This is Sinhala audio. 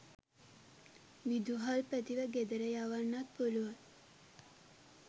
විදුහල්පතිව ගෙදර යවන්නත් පුළුවන්.